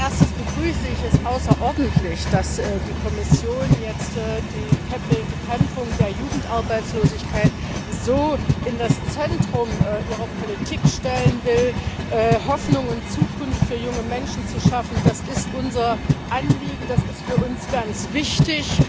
Als erstes begrüße ich es außerordentlich, dass die Kommission die Bekämpfung der Jugendarbeitslosigkeit so ins Zentrum ihrer Politik stellen will. Hoffnung und Zukunft für junge Menschen zu schaffen, das ist unser Anliegen, das ist für uns ganz wichtig.